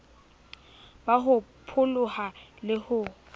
ba ho pholoha le ho